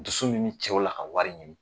Dusu min bɛ cɛw la ka wari ɲini.